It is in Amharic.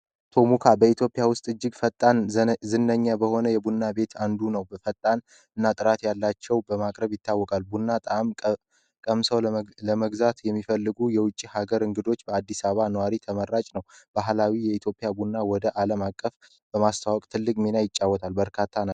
ቶሙካ በኢትዮጵያ ውስጥ እጅግ ፈጣን ዝነኛ በሆነ የቡና ቤት አንዱ ነው። በፈጣን እና ጥራት ያላቸው በማቅረብ ይታወቃል ቡና ጣም ቀምሰው ለመግዛት የሚፈልጉ የውጪ ሀገር እንግዶች በአዲሳባ ነዋሪ ተመራጭ ነው። ባህላዊ የኢትዮጵያ ቡና ወደ ዓለም አቀፍ በማስታወቅ ትልግ ሚና ይጫወታል በርካታ ነው።